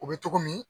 O bɛ cogo min